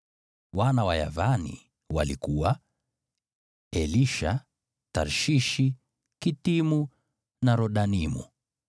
Wana wa Yavani walikuwa: Elisha, Tarshishi, Kitimu na Rodanimu.